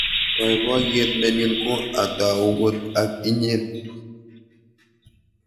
baibaiet nenyun ko a tau kot ak inyen